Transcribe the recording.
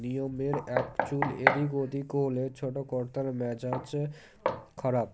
নিয়মের একচুল এদিক ওদিক হলে ছোটো কর্তার মেজাজ খারাপ